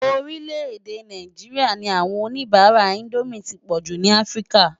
Orílẹ̀-èdè Náijiriá ní áwòn ónibàrá Indómi ti pòjú ni Afrika.